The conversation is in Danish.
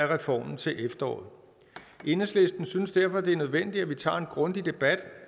reformen til efteråret enhedslisten synes derfor at det er nødvendigt at vi tager en grundig debat